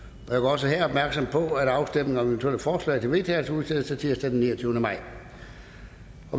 også her opmærksom på at afstemning om eventuelle forslag til vedtagelse udsættes til tirsdag den niogtyvende maj